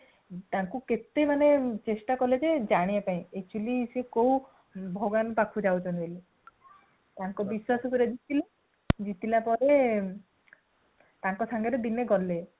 ତାକୁ କେତେ ମାନେ ଚେଷ୍ଟା କଲେ ଜେ ଜାଣିବା ପାଇଁ actually ସିଏ କୋଉ ଭଗବାନଙ୍କ ପାଖକୁ ଯାଉଛନ୍ତି ବୋଲି ତାଙ୍କ ବିଶ୍ୱାସ ପୁରା ଜିତିଲେ | ଜିତିଲା ପରେ ତାଙ୍କ ସାଙ୍ଗରେ ଦିନେ ଗଲେ